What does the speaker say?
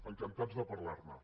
encantats de parlar ne